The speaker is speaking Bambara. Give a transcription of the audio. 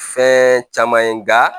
Fɛn caman ye nga